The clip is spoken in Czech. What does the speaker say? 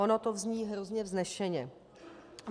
Ono to zní velmi vznešeně.